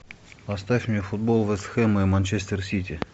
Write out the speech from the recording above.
поставь мне футбол вест хэма и манчестер сити